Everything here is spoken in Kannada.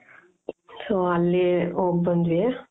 so ಅಲ್ಲಿ ಹೋಗ್ಬಂದ್ವಿ .